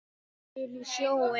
Henda sér í sjóinn?